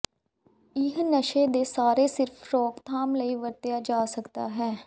ਇਹ ਨਸ਼ੇ ਦੇ ਸਾਰੇ ਸਿਰਫ ਰੋਕਥਾਮ ਲਈ ਵਰਤਿਆ ਜਾ ਸਕਦਾ ਹੈ